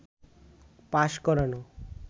pass করানো